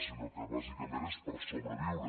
sinó que bàsicament és per sobreviure